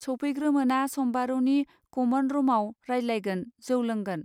सौफैग्रोमोना सम्बारूनि common room आव रायज्लायगोन जौ लोंगोन